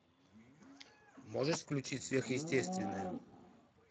можешь включить сверхъестественное